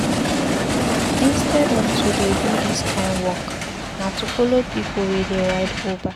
Instead of to dey do dis kind work, na to follow pipu wey dey ride Uber.